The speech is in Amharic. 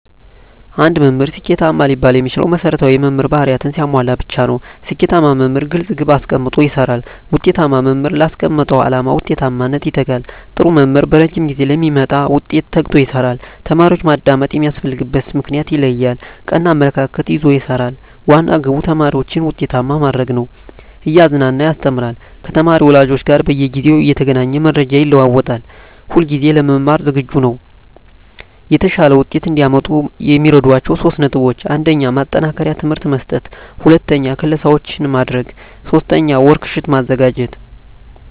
አንድ መምህር ስኬታማ ሊባል የሚችለው መሰረታዊ የመምህር በህሪያትን ሲያሟላ ብቻ ነው። ስኬታማ መምህር ግለፅ ግብ አሰቀምጦ ይሰራል፣ ውጤታማ መምህር ላስቀመጠው ዓላማ ውጤታማነት ይተጋል፣ ጥሩ መምህር በረጂም ጊዜ ለሚመጣ ውጤት ተግቶ ይሰራል፣ ተማሪዎችን ማዳመጥ የሚያስፈልግበትን ምክንያት ይለያል፣ ቀና አመለካከት ይዞ ይሰራል፤ ዋና ግቡ ተማሪዎችን ውጤታማ ማድረግ ነው፤ እያዝናና ያስተምራል፤ ከተማሪ ወላጆች ጋር በየጊዜው እየተገናኘ መረጃ ይለዋወጣል፣ ሁለጊዜ ለመማር ዝግጁ ነው። የተሻለ ውጤት እዲያመጡ የሚረዷቸው 3 ነጥቦች 1. ማጠናከሪያ ትምህርት መስጠት 2. ክለሣዎችን ማድረግ 3. ወርክ ሽት ማዘጋጀት